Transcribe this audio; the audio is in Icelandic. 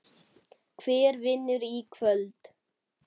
Hver vinnur í kvöld?